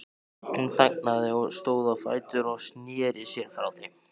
Hún þagnaði, stóð á fætur og sneri sér frá þeim.